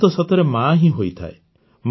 ମା ତ ସତରେ ମା ହିଁ ହୋଇଥାଏ